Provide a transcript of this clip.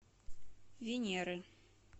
венеры